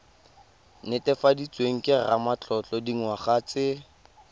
netefaditsweng ke ramatlotlo dingwaga tse